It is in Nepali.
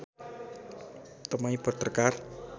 तपाईँ पत्रकार